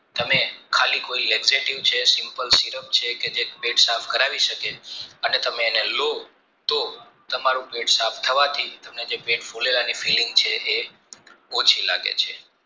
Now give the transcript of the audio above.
તમે ખાલી ખોરી laxative છે simple syrup છે કે જે સાફ કરાવી શકે અને તમે એને લો તો તમારું પેટ સાફ થવાથી તમને જે પેટ ફૂલેલાની filling છે એ ઓછી લાગે છે